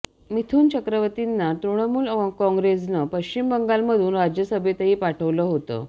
मिथून चक्रवर्तींना तृणमूल काँगेसनं पश्चिम बंगालमधून राज्यसभेतही पाठवलं होतं